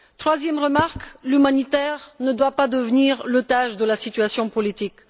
Troisième remarque, l'humanitaire ne doit pas devenir otage de la situation politique.